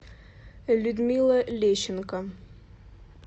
людмила лещенко